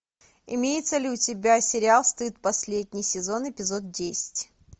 имеется ли у тебя сериал стыд последний сезон эпизод десять